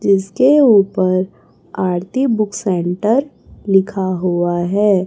जिसके ऊपर Aarti book centre लिखा हुआ है।